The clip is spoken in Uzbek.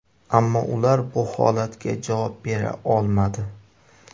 Ammo ular bu holatga javob bera olmadi.